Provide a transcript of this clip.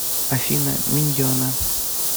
афина миньены